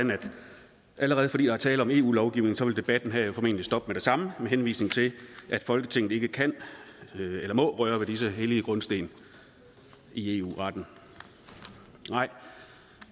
allerede fordi der er tale om eu lovgivning vil debatten her formentlig stoppe med det samme med henvisning til at folketinget ikke kan eller må røre ved disse hellige grundsten i eu retten nej